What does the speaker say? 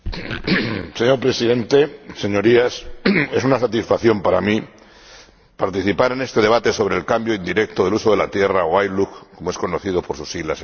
Señor Presidente, Señorías, es una satisfacción para mí participar en este debate sobre el cambio indirecto del uso de la tierra, o ILUC, como es conocido por sus siglas en inglés.